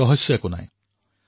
ৰহস্য বুলি একো নাই আচলতে